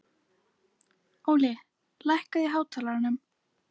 Óli, lækkaðu í hátalaranum.